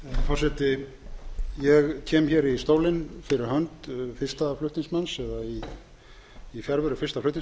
forseti ég kem í stólinn fyrir hönd fyrsta flutningsmanns eða í fjarveru fyrsta flutningsmanns